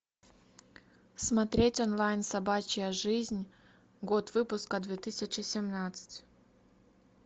смотреть онлайн собачья жизнь год выпуска две тысячи семнадцать